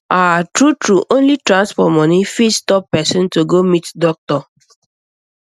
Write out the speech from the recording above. ah true true only transport money fit stop person to go meet doctor